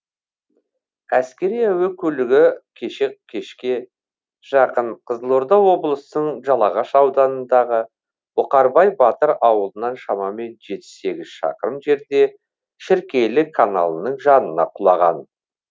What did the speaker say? әскери әуе көлігі кеше кешке жақын қызылорда облысының жалағаш ауданындағы бұқарбай батыр ауылынан шамамен жеті сегіз шақырым жерде шіркейлі каналының жанына құлаған